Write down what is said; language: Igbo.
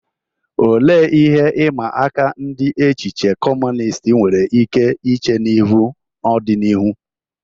Olee ihe ịma aka ndị echiche Kọmunist nwere ike iche ihu n'ọdịnihu?